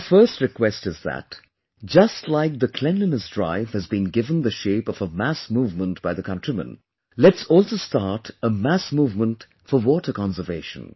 My first request is that just like cleanliness drive has been given the shape of a mass movement by the countrymen, let's also start a mass movement for water conservation